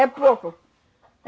É pouco.